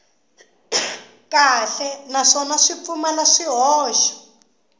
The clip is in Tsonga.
kahle naswona swi pfumala swihoxo